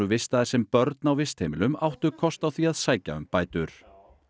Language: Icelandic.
vistaðir sem börn á vistheimilum áttu kost á því að sækja um bætur